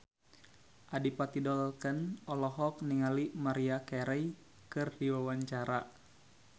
Adipati Dolken olohok ningali Maria Carey keur diwawancara